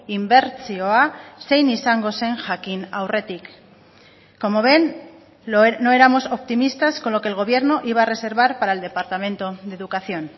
inbertsioa zein izango zen jakin aurretik como ven no éramos optimistas con lo que el gobierno iba a reservar para el departamento de educación